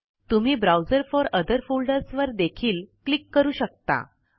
तुम्ही browse for other folders वर देखील क्लिक करू शकता